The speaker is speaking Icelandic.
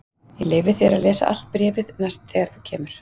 Ég leyfi þér að lesa allt bréfið næst þegar þú kemur.